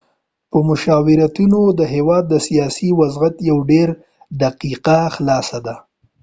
مشاوریتونه د هیواد د سیاسی وضعیت یو ډیره دقیقه خلاصه ده